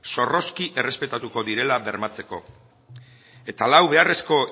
zorrozki errespetatuko direla bermatzeko eta lau beharrezko